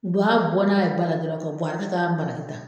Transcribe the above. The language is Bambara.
u b'a bɔ n'a ye ba la dɔrɔn jira ta.